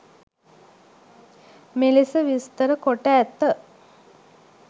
මෙලෙස විස්තර කොට ඇත.